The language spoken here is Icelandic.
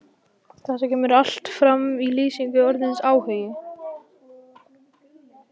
Þetta kemur allt fram í lýsingu orðsins áhugi: